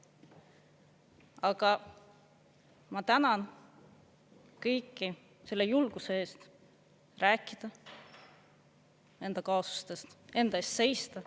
" Aga ma tänan kõiki selle julguse eest rääkida enda kaasustest, enda eest seista.